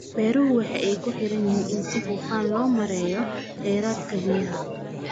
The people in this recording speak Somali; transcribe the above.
Beeruhu waxa ay ku xidhan yihiin in si hufan loo maareeyo khayraadka biyaha.